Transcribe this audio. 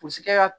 Pɔsikɛ